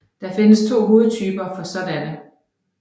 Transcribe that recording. Der findes to hovedtyper for sådanne